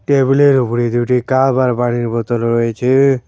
টেবিলের ওপরে দুটি কাপ আর বাড়ির বোতল রয়েচে-এ।